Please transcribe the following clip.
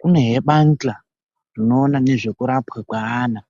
Kunezve bandla rinoona nezvekurapwa kweana.